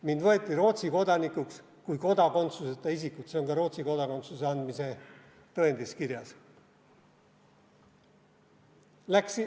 Mind võeti Rootsi kodanikuks kui kodakondsuseta isikut, see on ka Rootsi kodakondsuse andmise tõendis kirjas.